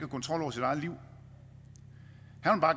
kontrol over sit eget liv